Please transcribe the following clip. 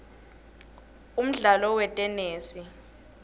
umdlalo wetenesi